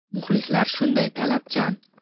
Muxlislar shunday talabchan.